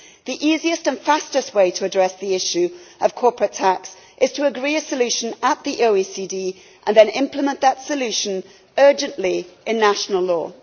The easiest and fastest way to address the issue of corporate tax is to agree a solution at the OECD and then implement that solution urgently in national law.